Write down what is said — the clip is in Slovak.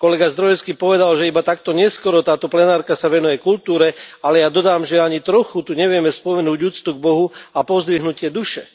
Kolega Zdrojewski povedal, že iba takto neskoro táto plenárka sa venuje kultúre, ale ja dodám, že ani trochu tu nevieme spomenúť úctu k Bohu a pozdvihnutie duše.